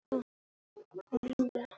Fáir á ferli.